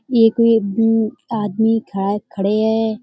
ये कोई मम आदमी खड़ा खड़े है।